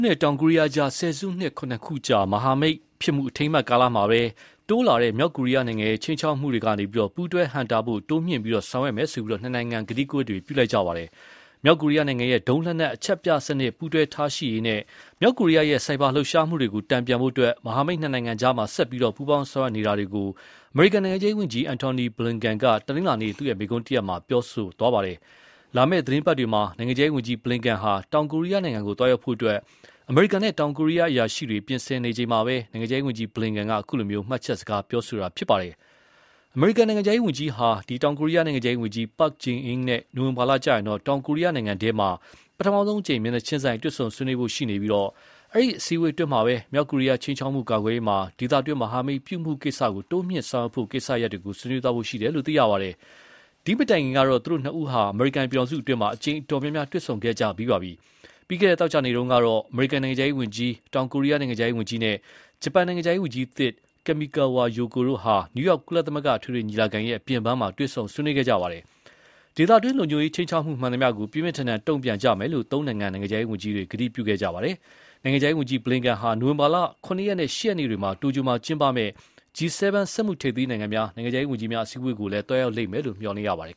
နဲ့ တောင်ကိုရီယားနိုင်ငံအကြား ဆယ်စုနှစ် ၇ ခုကြာ မဟာမိတ်ဖြစ်မှု အထိမ်းအမှတ်ကာလမှာပဲ မြောက်ကိုရီးယားရဲ့ခြိမ်းခြောက်မှုတွေတိုးလာနေတာကို ပူးတွဲဟန့်တားရေး တိုးမြှင့်ဆောင်ရွက်မယ်လို့ နှစ်နိုင်ငံ ကတိကဝတ်ပြုခဲ့ကြပါတယ်။ မြောက်ကိုရီးယားရဲ့ဒုံးလက်နက် အချက်ပြစနစ်ပူးတွဲထားရှိရေးနဲ့ မြောက်ကိုရီးယားရဲ့ ဆိုက်ဘာလှုပ်ရှားမှုတွေကိုတန်ပြန်ဖို့ မဟာမိတ်နှစ်နိုင်ငံကြား ဆက်ပြီး ပူးပေါင်းဆောင်ရွက်နေတာကို အမေရိကန်နိုင်ငံခြားရေးဝန်ကြီး Antony Blinken က တနင်္လာနေ့မိန့်ခွန်းတရပ်မှာ ထည့်သွင်းပြောခဲ့ပါတယ်။ လာမယ့်သီတင်းပတ်တွေမှာ နိုင်ငံခြားရေးဝန်ကြီး Blinken က တောင်ကိုရီးယားကို သွားရောက်ဖို့ အမေရိကန်နဲ့ တောင်ကိုရီးယားအရာရှိတွေပြင်ဆင်နေချိန်မှာပဲ နိုင်ငံခြားရေးဝန်ကြီး Blinken က အခုလို မှတ်ချက်စကားပြောတာပါ။ အမေရိကန်နိုင်ငံခြားရေးဝန်ကြီးဟာ တောင်ကိုရီးယားနိုင်ငံခြားရေးဝန်ကြီး Park Jin နဲ့ နိုဝင်ဘာလကျရင်တော့ တောင်ကိုရီးယားနိုင်ငံအတွင်း ပထမဆုံးအကြိမ် မျက်နှာချင်းဆိုင် တွေ့ဆုံဆွေးနွေးဖို့ရှိပါတယ်။ အဲဒီအစည်းအဝေးတွေအတွင်းမှာတော့ မြောက်ကိုရီးယားခြိမ်းခြောက်မှု ကာကွယ်ရေးမှာ ဒေသတွင်းမဟာမိတ်ပြုမှု တိုးမြှင့်ဆောင်ရွက်ဖို့ကိစ္စတွေကို ဆွေးနွေးသွားဖို့ရှိတယ်လို့ သိရပါတယ်။ ဒီမတိုင်ခင်ကတော့ သူတို့နှစ်ဦးဟာ အမေရိကန်ပြည်ထောင်စုအတွင်း အကြိမ်အတော် များများ တွေ့ဆုံခဲ့ကြပြီးပါပြီ။ ပြီးခဲ့တဲ့ သောကြာနေ့တုန်းကတော့ အမေရိကန်နိုင်ငံခြားရေးဝန်ကြီး၊ တောင်ကိုရီးယားနိုင်ငံခြားရေးဝန်ကြီးနဲ့ ဂျပန်နိုင်ငံခြားရေးဝန်ကြီးသစ် Kamikawa Yoko တို့ဟာ နယူးယောက် ကုလသမဂ္ဂအထွေထွေညီလာခံအပြင်ပန်းမှာ တွေ့ဆုံဆွေးနွေးခဲ့ကြပါတယ်။ ဒေသတွင်းလုံခြုံရေးခြိမ်းခြောက်မှုမှန်သမျှကို ပြင်းပြင်းထန်ထန်တုံ့ပြန်ကြမယ်လို့ သုံးနိုင်ငံ နိုင်ငံခြားရေးဝန်ကြီးတွေ ဂတိပြုခဲ့ကြပါတယ်။ နိုင်ငံခြားရေးဝန်ကြီး Blinken ဟာ နိုဝင်ဘာ ၇ ရက်နဲ့ ၈ ရက်နေ့တွေ တိုကျိုမှာကျင်းပမယ့် G 7 စက်မှုထိပ်သီးနိုင်ငံများ နိုင်ငံခြားရေးဝန်ကြီးများအစည်းအဝေးကိုလည်း သွားရောက်မယ်လို့ မျှော်လင့်ရပါတယ်